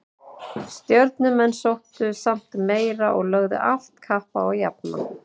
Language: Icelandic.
Stjörnumenn sóttu samt meira og lögðu allt kapp á að jafna.